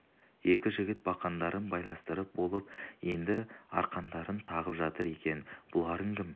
екі жігіт бақандарын байластырып болып енді арқандарын тағып жатыр екен бұларың кім